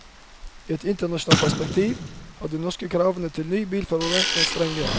I et internasjonalt perspektiv har de norske kravene til nye bilførere vært strenge.